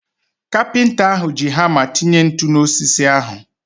Kapịnta ahu ji hama tinye ntụ na osisi ahu